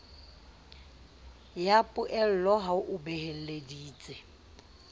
ya poello ha o beeleditse